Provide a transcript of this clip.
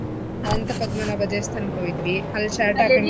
ಅನಂತಪದ್ಮನಾಭ ದೇವಸ್ಥಾನಕ್ ಹೋಗಿದ್ವಿ ಅಲ್ shirt ಹಾಕಿ .